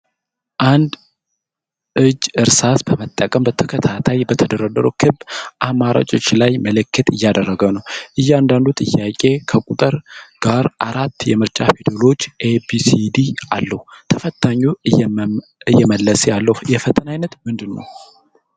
አንድ እጅ እርሳስ በመጠቀም በተከታታይ በተደረደሩ ክብ አማራጮች ላይ ምልክት እያደረገ ነው። እያንዳንዱ ጥያቄ ከቁጥር ጋር አራት የምርጫ ፊደሎችን (A፣ B፣ C፣ D) አለው። ተፈታኙ እየመለሰ ያለው የፈተና ዓይነት ምንድን ነው?